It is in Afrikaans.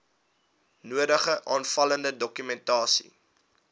nodige aanvullende dokumentasie